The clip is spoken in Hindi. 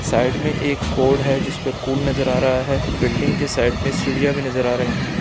साइड में एक बोर्ड है जिसपे कुल नजर आ रहा है बिल्डिंग के साइड में सीढियां भी नजर आ रही है।